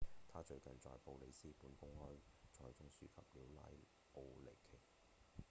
他最近在布里斯本公開賽中輸給了拉奧尼奇